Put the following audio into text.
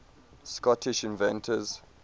scottish inventors